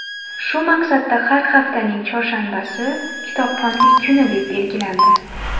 Shu maqsadda har haftaning chorshanbasi kitobxonlik kuni, deb belgilandi.